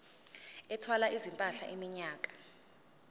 ethwala izimpahla iminyaka